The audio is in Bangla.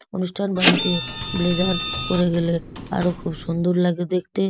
অনুষ্ঠান বাড়িতে ব্লেজার পরে গেলে আরো খুব সুন্দর লাগে দেখতে।